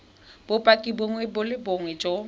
bopaki bongwe le bongwe jo